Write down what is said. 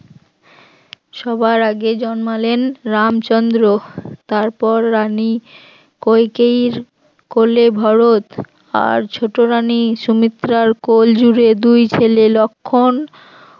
সবার আগে জন্মালেন রামচন্দ্র তারপর রানী কইকেয়ীর কোলে ভরত আর ছোট রানী সুমিত্রার কোলজুড়ে দুই ছেলে লক্ষণ